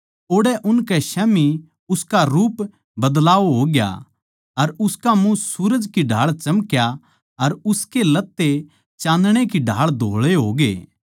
ओड़ै उनकै स्याम्ही उसका रूप म्ह बदलाव होया अर उसका मुँह सूरज की ढाळ चमक्या अर उसके लत्ते चाँदणै की ढाळ धोळै होग्ये